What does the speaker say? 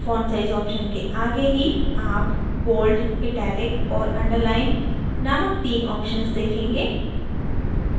font size option के आगे ही आप bold italic और underlineनामक तीन options देखेंगे